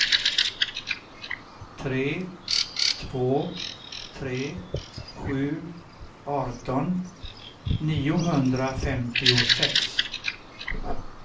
tre två tre sju arton niohundrafemtiosex